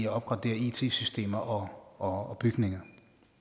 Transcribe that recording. at opgradere it systemer og og bygninger